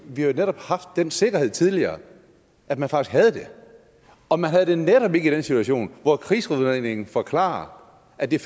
vi har jo netop haft den sikkerhed tidligere at man faktisk havde det og man havde det netop ikke i den situation hvor krigsudredningen forklarer at det